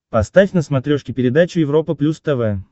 поставь на смотрешке передачу европа плюс тв